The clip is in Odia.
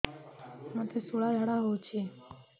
ମୋତେ ଶୂଳା ଝାଡ଼ା ହଉଚି